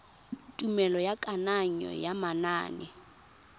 tumelelo ya kananyo ya manane